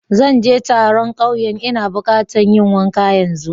Zan je taron kauyen n'na buƙata yin wanka yanzu.